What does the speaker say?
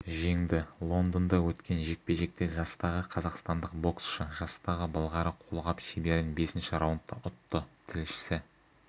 жеңді лондонда өткен жекпе-жекте жастағы қазақстандық боксшы жастағы былғары қолғап шеберін бесінші раундта ұтты тілшісі